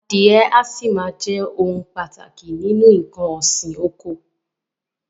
Adìẹ a sì máa ohun pàtàkì nínú nǹkan òsì oko.